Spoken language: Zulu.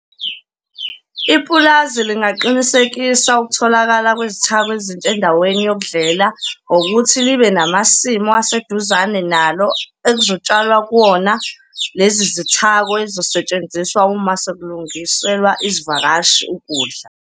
Ipulazi lingaqinisekisa ukutholakala kwezithako ezintsha endaweni yokudlela ngokuthi libe namasimu aseduzane nalo ekuzotshalwa kuwona lezi zithako ezizosetshenziswa uma sekulungiselwa izivakashi ukudla.